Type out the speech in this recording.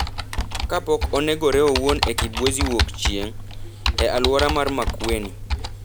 kapok onegore owuon e Kibwezi Wuokchieng’, e alwora mar Makueni.